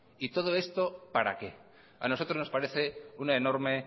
y todo esto para qué a nosotros nos parece una enorme